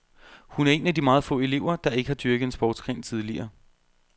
Hun er en af de meget få elever, der ikke har dyrket en sportsgren tidligere.